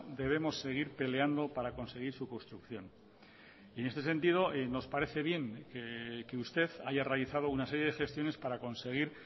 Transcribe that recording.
debemos seguir peleando para conseguir su construcción en este sentido nos parece bien que usted haya realizado una serie de gestiones para conseguir